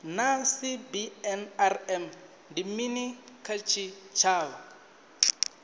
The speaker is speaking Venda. naa cbnrm ndi mini kha tshitshavha